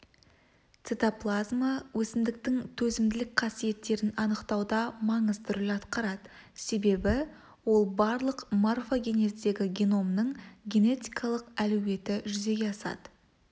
цитоплазма өсімдіктің төзімділік қасиеттерін анықтауда маңызды роль атқарады себебі ол арқылы морфогенездегі геномның генетикалық әлеуеті жүзеге асады